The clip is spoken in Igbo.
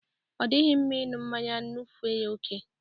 Odighi mma ịṅụ mmanya ṅụfee ya ókè.